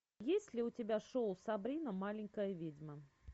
есть ли у тебя шоу сабрина маленькая ведьма